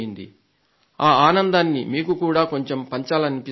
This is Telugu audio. ఆ ఆనందాన్ని మీకు కూడా కొంచెం పంచాలనిపిస్తోంది